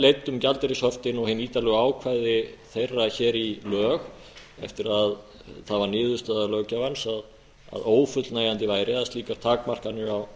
leiddum gjaldeyrishöftin og hin nýtanlegu ákvæði þeirra hér í lög eftir að það var niðurstaða löggjafans að ófullnægjandi væri að slíkar takmarkanir á